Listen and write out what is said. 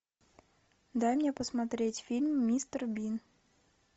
дай мне посмотреть фильм мистер бин